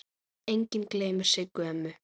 Enginn gleymir Siggu ömmu.